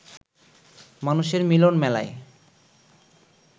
মানুষের মিলন মেলায়